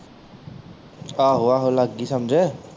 ਆਹੋ ਆਹੋ ਲੱਗ ਗਈ ਸਮਝ